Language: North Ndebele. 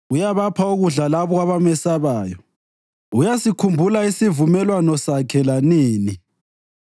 Uyabapha ukudla labo abamesabayo; uyasikhumbula isivumelwano Sakhe lanini.